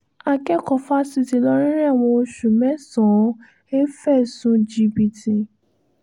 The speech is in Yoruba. akẹ́kọ̀ọ́ fásitì ìlọrin rẹ̀wọ̀n oṣù mẹ́sàn um fẹ̀sùn jìbìtì